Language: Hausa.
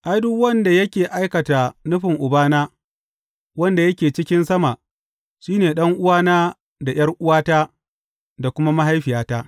Ai, duk wanda yake aikata nufin Ubana wanda yake cikin sama, shi ne ɗan’uwana da ’yar’uwata da kuma mahaifiyata.